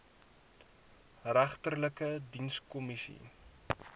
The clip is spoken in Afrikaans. regterlike dienskom missie